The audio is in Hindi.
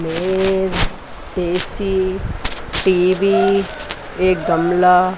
मेज ए_सी टी_वी एक गमला--